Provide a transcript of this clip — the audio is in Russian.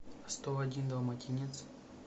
сто один далматинец